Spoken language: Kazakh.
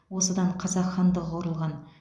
осыдан қазақ хандығы құрылған